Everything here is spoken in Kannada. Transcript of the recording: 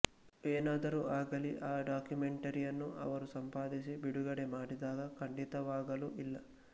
ಏನಾದರೂ ಆಗಲಿ ಆ ಡಾಕ್ಯುಮೆಂಟರಿಯನ್ನು ಅವರು ಸಂಪಾದಿಸಿ ಬಿಡುಗಡೆ ಮಾಡಿದಾಗ ಖಂಡಿತವಾಗಲೂ ಇಲ್ಲ